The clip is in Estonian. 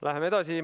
Läheme edasi.